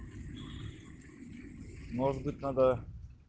может быть надо